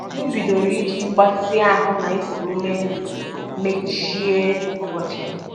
M bidoro iji mgbatị ahụ na ikuru ume ndụ emechi ụbọchị m